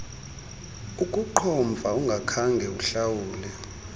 ukuqhomfa ungakhange uhlawule